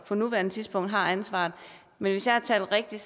på nuværende tidspunkt har ansvaret hvis jeg har talt rigtigt